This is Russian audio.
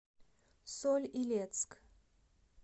соль илецк